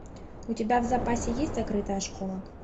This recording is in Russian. у тебя в запасе есть закрытая школа